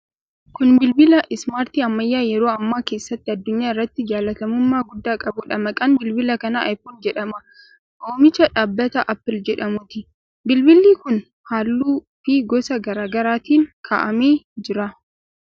Kun bilbila 'ismaartii' ammayyaa yeroo ammaa keessatti addunyaa irratti jaallatamummaa guddaa qabuudha. Maqaan bilbila kanaa 'i-phone' jedhama. Oomicha dhaabbata 'Apple' jedhamuuti. Bilbilli kun halluu fi gosa garaa garaatiin kaa'amee jira.